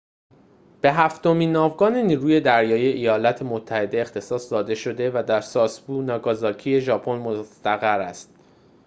به هفتمین ناوگان نیروی دریایی ایالات متحده اختصاص داده شده و در ساسبو ناگازاکی ژاپن مستقر است